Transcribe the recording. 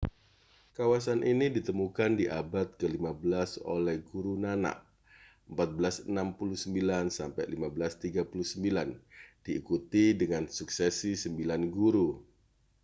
kawasan ini ditemukan di abad ke-15 oleh guru nanak 1469â€ 1539. diikuti dengan suksesi sembilan guru